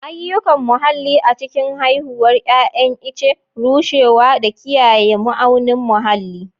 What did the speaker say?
Ayyukan muhalli a cikin haihuwar 'ya'yan ice, rushewa, da kiyaye ma'aunin muhalli.